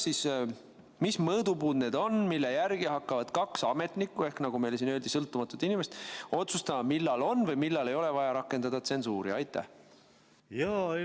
Mis mõõdupuud need on, mille järgi hakkavad kaks ametnikku ehk, nagu meile siin öeldi, sõltumatut inimest otsustama, millal on või millal ei ole vaja rakendada tsensuuri?